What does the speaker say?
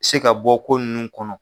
Se ka bɔ ko ninnu kɔnɔ.